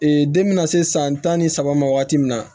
den bɛna se san tan ni saba ma waati min na